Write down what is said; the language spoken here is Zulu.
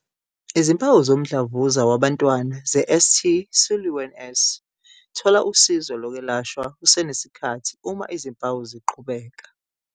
Izimpawu zomdlavuza wabantwana ze-St Siluan S - Thola usizo lokwelashwa kusenesikhathi uma izimpawu ziqhubeka.